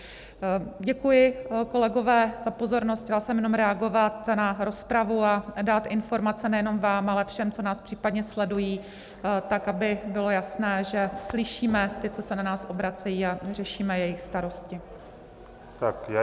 Děkuji, kolegové, za pozornost, chtěla jsem jenom reagovat na rozpravu a dát informace nejenom vám, ale všem, co nás případně sledují, tak aby bylo jasné, že slyšíme ty, co se na nás obracejí, a řešíme jejich starosti.